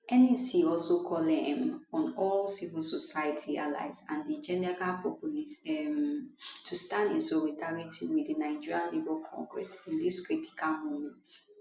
nec also call um on all civil society allies and di general populace um to stand in solidarity with di nigeria labour congress in dis critical moment